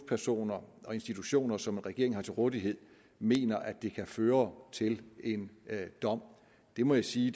personer og institutioner som regeringen har til rådighed mener at det kan føre til en dom det må jeg sige